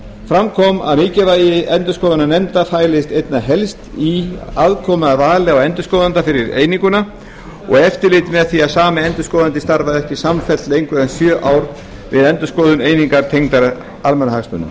fram kom að mikilvægi endurskoðunarnefnda fælist einna helst í aðkomu að vali á endurskoðanda fyrir eininguna og eftirliti með því að sami endurskoðandinn starfaði ekki samfellt lengur en sjö ár við endurskoðun einingar tengdrar almannahagsmunum